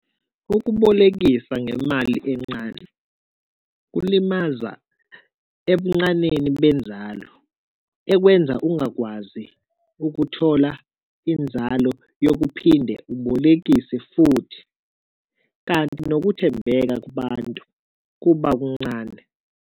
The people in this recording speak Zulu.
Ukubolekisa ngemali encane kulimaza ebuncaneni benzalo ekwenza ungakwazi ukuthola inzalo yokuphinde ubolekise futhi. Kanti nokuthembeka kubantu kuba kuncane.